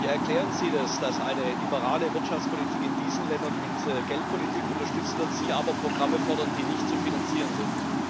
Wie erklären Sie es, dass eine liberale Wirtschaftspolitik in diesen Ländern mit Geldpolitik unterstützt wird, Sie aber Programme fordern, die nicht zu finanzieren sind?